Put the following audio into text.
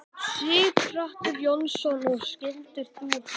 Sighvatur Jónsson: Og skildir þú hana?